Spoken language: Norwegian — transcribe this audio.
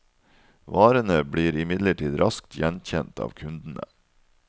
Varene blir imidlertid raskt gjenkjent av kundene.